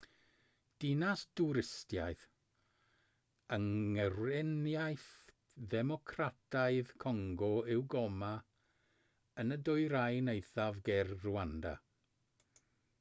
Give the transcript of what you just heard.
dinas dwristaidd yng ngweriniaeth ddemocrataidd congo yw goma yn y dwyrain eithaf ger rwanda